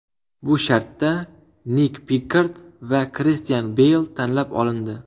Bu shartda Nik Pikkard va Kristian Beyl tanlab olindi.